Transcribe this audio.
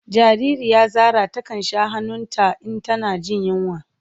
Jariri ya Zara ta kan sha han'nun ta in tana jin yunwa.